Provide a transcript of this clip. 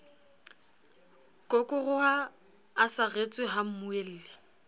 kokoroha a saretswe ha mmuelli